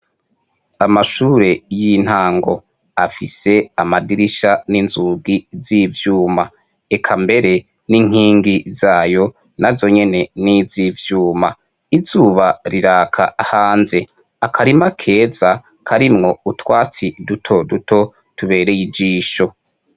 Amashure y'intango afise amadirisha n'inzugi zivyuma, eka mbere n'inkingi zayo nazonyene n'izi vyuma, izuba riraka hanze akarima keza karimwo utwatsi duto duto tubereye ijisho.